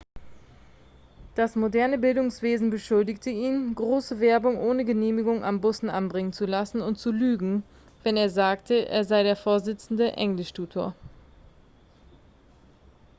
das moderne bildungswesen beschuldigte ihn große werbung ohne genehmigung an bussen anbringen zu lassen und zu lügen wenn er sagte er sei der vorsitzende englischtutor